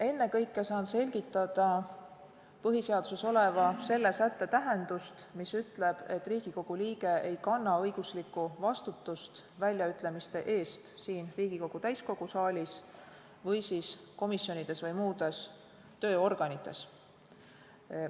Ennekõike saan selgitada põhiseaduses oleva sätte tähendust, mis ütleb, et Riigikogu liige ei kanna õiguslikku vastutust väljaütlemiste eest siin Riigikogu täiskogu saalis või komisjonides või muudes tööorganites.